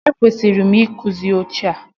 E kwesịrị m ị kụzi oche a.